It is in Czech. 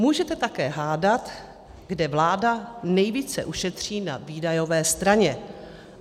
Můžete také hádat, kde vláda nejvíce ušetří na výdajové straně.